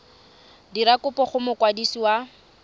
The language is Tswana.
dira kopo go mokwadisi wa